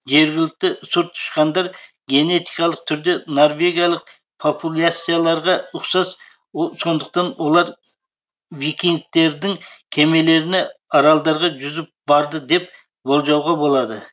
жергілікті сұр тышқандар генетикалық түрде норвегиялық популяцияларға ұқсас сондықтан олар викингтердің кемелеріне аралдарға жүзіп барды деп болжауға болады